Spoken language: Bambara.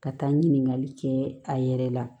Ka taa ɲininkali kɛɛ a yɛrɛ la